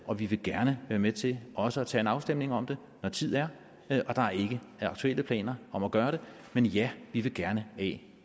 og vi vil gerne være med til også at tage en afstemning om det når tid er der er ikke aktuelle planer om at gøre det men ja vi vil gerne af